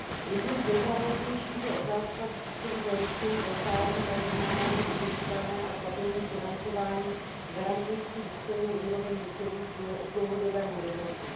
Jedním z nejzávažnějších je otázka způsobu zajištění ve stáří a zejména jeho udržitelné a stabilní financování garantující důstojnou úroveň důchodů v dlouhodobém horizontu.